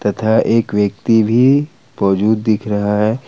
तथा एक व्यक्ति भी मौजूद दिख रहा है।